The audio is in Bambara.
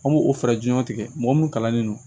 An b'o o fɛɛrɛ jɔnw tigɛ mɔgɔ munnu kalannen don